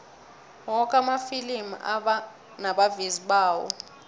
woke amafilimi anabavezi bawo